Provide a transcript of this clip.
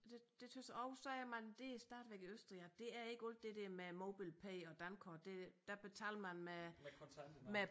Det det synes jeg og så er man det er stadigvæk i Østrig at det er ikke alt det der med MobilePay og dankort det der betaler man med med